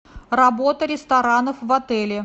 работа ресторанов в отеле